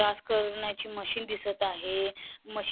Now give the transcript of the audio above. करण्याची मशीन दिसत आहे मशीन --